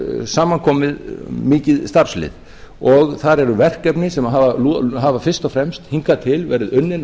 er samankomið mikið starfslið og þar eru verkefni sem hafa fyrst og fremst hingað til verið unnin á